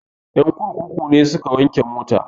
Ƴan kurkuku ne suka wanke mai mota